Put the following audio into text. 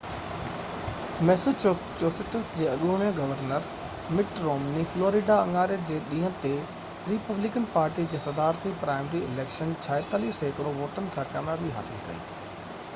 Massachusetts جي اڳوڻي governor Mitt Romney Florida اڱاري جي ڏينهن تي ريپبليڪن پارٽي جي صدارتي پرائمري اليڪشن 46 سيڪڙو ووٽن سان ڪاميابي حاصل ڪئي